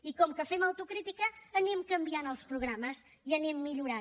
i com que fem autocrítica anem canviant els programes i anem millorant